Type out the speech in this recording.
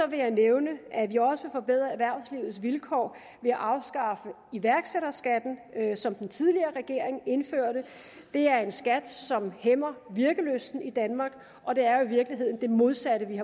vil jeg nævne at vi også vil forbedre erhvervslivets vilkår ved at afskaffe iværksætterskatten som den tidligere regering indførte det er en skat som hæmmer virkelysten i danmark og det er jo i virkeligheden det modsatte vi